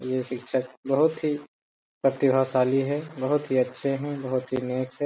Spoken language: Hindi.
ये शिक्षक बहुत ही प्रतिभाशाली है बहुत ही अच्छे हैं बहुत ही नेक हैं।